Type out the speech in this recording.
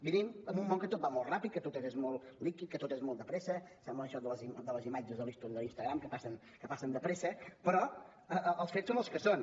vivim en un món que tot va molt ràpid que tot és molt líquid que tot és molt de pressa sembla això de les imatges de l’ story de l’instagram que passen de pressa però els fets són els que són